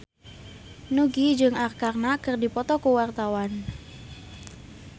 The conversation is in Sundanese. Nugie jeung Arkarna keur dipoto ku wartawan